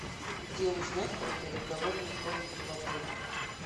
где узнать про переговорную комнату в отеле